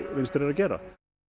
vinstri er að gera